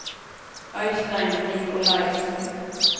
Øistein Nicolaisen